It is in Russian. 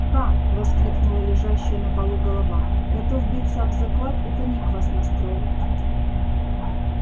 ха воскликнула лежащая на полу голова готов биться об заклад это ник вас настроил